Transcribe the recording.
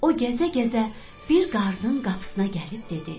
O gəzə-gəzə bir qarının qapısına gəlib dedi: